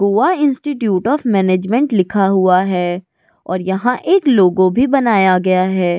Goa institute of management लिखा हुआ है और यहा एक लोगो भी बनाया गया है।